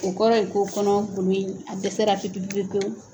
O kɔrɔ ye ko kɔnɔ golo in a dɛsɛra pepe pepe pewu